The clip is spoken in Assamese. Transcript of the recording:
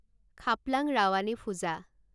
খাপলাং ৰাৱানে ফুজা